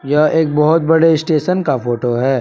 यह एक बहोत बड़े स्टेशन का फोटो है।